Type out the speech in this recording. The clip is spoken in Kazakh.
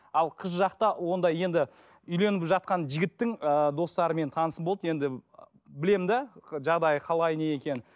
ал қыз жақта ондай енді үйленіп жатқан жігіттің ыыы достары менің танысым болды енді білемін де жағдайы қалай не екенін